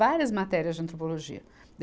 Várias matérias de antropologia.